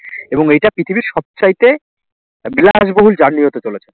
এবং এটা পৃথিবীর সবচাইতে বিলাসবহুল journey হতে চলেছে